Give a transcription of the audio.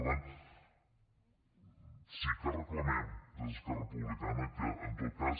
per tant sí que reclamem des d’esquerra republicana que en tot cas